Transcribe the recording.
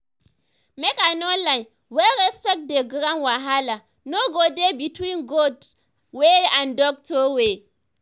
make i no lie when respect dey ground wahala no go dey between god way and doctor way